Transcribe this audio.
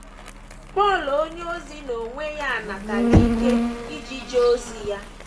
Pọl onyeozi n’onwe ya natara ike iji jee ozi ya.